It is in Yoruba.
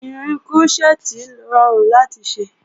Irin krọ́ṣẹ́tì rọrùn láti ṣe